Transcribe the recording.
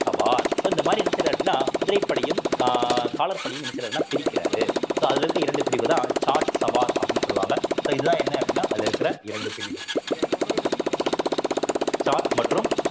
சவார் so இந்த மாதிரி என்ன செய்றாரு அப்படின்னா குதிரைப்படையும் கா~ காலாட் படையும் என்ன செய்யறார்ன்னா பிரிக்கிறாரு so அதுல இருக்க இரண்டு பிரிவுதான் ஜாட், சவார் அப்படின்னு சொல்லுவாங்க so இதுதான் என்ன அப்படின்னா அதுல இருக்கிற இரண்டு பிரிவுகள் ஜாட் மற்றும்